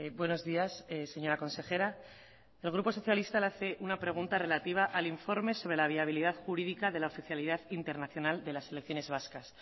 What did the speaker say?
buenos días señora consejera el grupo socialista le hace una pregunta relativa al informe sobre la viabilidad jurídica de la oficialidad internacional de las selecciones vascas